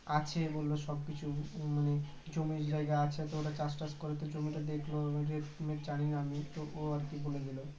আছে বললো সবকিছু মানে জমি জায়গা আছে তোরা চাষটাস করে তো জমিটা দেখল . আর কি বলে দিল